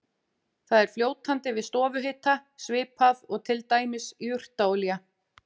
Það er fljótandi við stofuhita svipað og til dæmis jurtaolía.